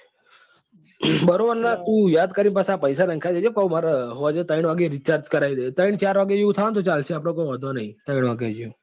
બરોબર ને તું યાદ કરી ને પસી આ પૈસા નખાઇ દેજે પછી માર સાંજે ત્રણ વાગે recharge કરાવી દઉં ત્રણ ચાર વાગે થશે તો ચાલશે update કઈ વાંધો નહી ત્રણ વાગે જેવું.